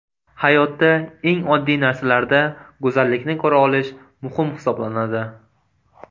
Hayotda eng oddiy narsalarda go‘zallikni ko‘ra olish muhim hisoblanadi.